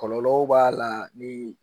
Kɔlɔlɔw b'a la ni